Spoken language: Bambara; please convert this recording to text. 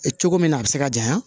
Cogo min na a be se ka janya